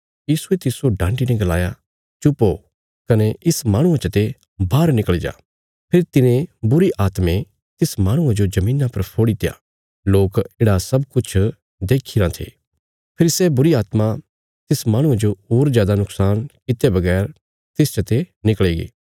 यीशुये तिस्सो डांटी ने गलाया चुप ओ कने इस माहणुये चते बाहर निकल़ी जा फेरी तिने बुरीआत्में तिस माहणुये जो धरतिया पर फोड़ीत्या लोक येढ़ा सब किछ देखीरां थे फेरी सै बुरीआत्मा तिस माहणुये जो होर जादा नुक्शान कित्ते बगैर तिस चते निकल़ीगी